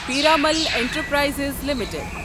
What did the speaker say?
پیٖرامَل انٹرپرایززِ لِمِٹٕڈ